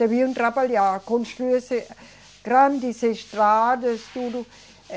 Deviam trabalhar, construir grandes estradas, tudo.